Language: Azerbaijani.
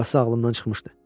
Burasi ağlımdan çıxmışdı.